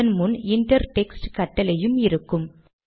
அதன் முன் inter text கட்டளையும் இருக்கும்